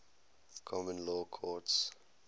common law courts